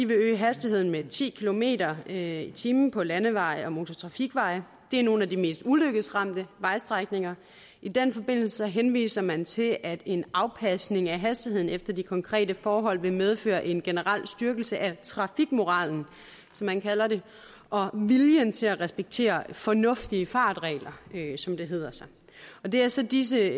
øge hastigheden med ti kilometer per time på landeveje og motortrafikveje det er nogle af de mest ulykkesramte vejstrækninger i den forbindelse henviser man til at en afpasning af hastigheden efter de konkrete forhold vil medføre en generel styrkelse af trafikmoralen som man kalder det og viljen til at respektere fornuftige fartregler som det hedder det er så disse